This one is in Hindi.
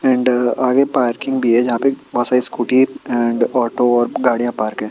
अँड आगे पार्किंग भी हैं जहाँ पे बहुत सारी स्कूटी अँड ऑटो और गाड़ियाँ पार्क हैं।